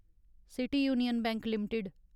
city Union Bank limited